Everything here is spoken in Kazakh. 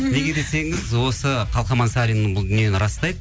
неге десеңіз осы қалқаман сарин бұл дүниені растайды